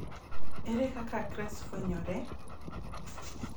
Ere kaka CREST fwenyore?